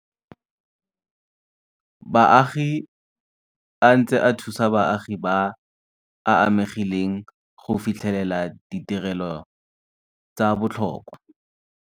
Baagi a ntse a thusa baagi ba ba amegileng go fitlhelela ditirelo tsa botlhokwa.